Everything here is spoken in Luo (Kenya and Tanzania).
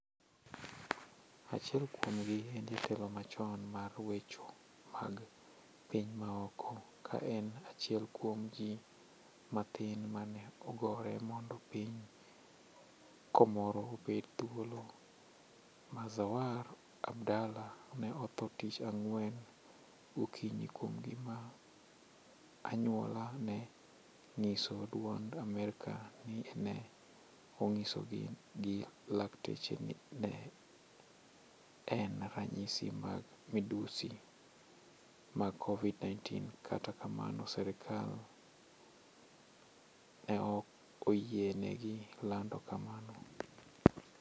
Achiel kuomgi en jatelo machon mar wecho mag piny maoko, kaen achiel kuom ji mathin mane ogore mondo piny komoro obed thuolo, Muzawar abdallah ne otho tich ang'wen gokinyi kuom gima anyuola ne ng'iso duond Amerika ni ne ong'isgi gi lakteche ni ne en ranyisi mag midhusi mag kovid 19,kata kamano serkal neoko yienegi landi kamano.